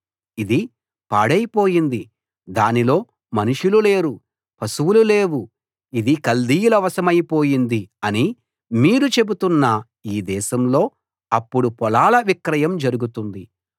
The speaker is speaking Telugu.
ఇది పాడైపోయింది దానిలో మనుషులు లేరు పశువులు లేవు ఇది కల్దీయుల వశమైపోయింది అని మీరు చెబుతున్న ఈ దేశంలో అప్పుడు పొలాల విక్రయం జరుగుతుంది